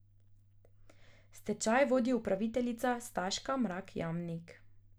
Stečaj vodi upraviteljica Staška Mrak Jamnik.